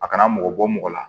A kana mɔgɔ bɔ mɔgɔ la